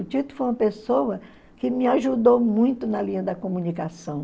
O Tito foi uma pessoa que me ajudou muito na linha da comunicação.